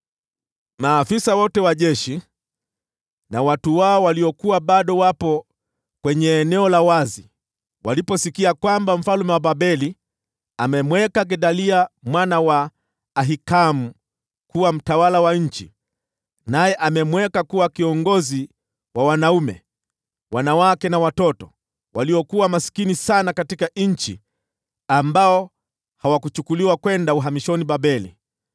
Maafisa wote wa jeshi na watu wao waliokuwa bado wapo kwenye eneo la wazi waliposikia kwamba mfalme wa Babeli amemteua Gedalia mwana wa Ahikamu kuwa mtawala wa nchi, na amemweka kuwa kiongozi wa wanaume, wanawake na watoto waliokuwa maskini zaidi katika nchi ambao hawakuchukuliwa kwenda uhamishoni Babeli,